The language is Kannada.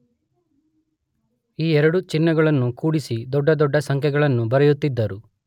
ಈ ಎರಡು ಚಿಹ್ನೆಗಳನ್ನು ಕೂಡಿಸಿ ದೊಡ್ಡ ದೊಡ್ಡ ಸಂಖ್ಯೆಗಳನ್ನು ಬರೆಯುತ್ತಿದ್ದರು.